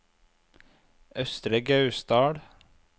Østre Gausdal